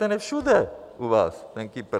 Ten je všude u vás, ten Kypr.